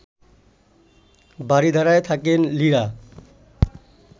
বারিধারায় থাকেন লিরা